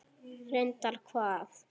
Reyndar hvað?